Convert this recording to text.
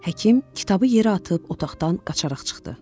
Həkim kitabı yerə atıb otaqdan qaçaraq çıxdı.